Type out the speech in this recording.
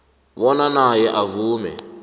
bona naye avume